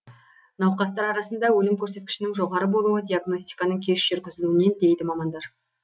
науқастар арасында өлім көрсеткішінің жоғары болуы диагностиканың кеш жүргізілуінен дейді мамандар